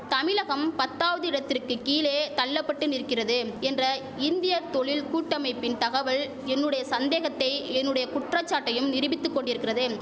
தமிழகம் பத்தாவது இடத்திற்கும் கீழே தள்ளபட்டு நிற்கிறது என்ற இந்திய தொழில் கூட்டமைப்பின் தகவல் என்னுடைய சந்தேகத்தை என்னுடைய குற்றசாட்டையும் நிருபித்து கொண்டிருக்கிறது